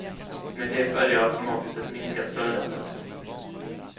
Med det följer automatiskt ett minskat födande.